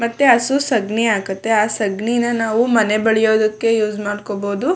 ಮತ್ತೆ ಹಸು ಸಗಣಿ ಹಾಕುತ್ತೆ. ಆ ಸಾಗಣಿನಾ ನಾವು ಮನೆ ಬಲಿಯೋದಕ್ಕೆ ಯೂಸ್ ಮಾಡ್ಕೋಬಹುದು.